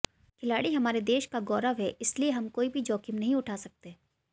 खिलाड़ी हमारे देश का गौरव हैं इसलिये हम कोई भी जोखिम नहीं उठा सकते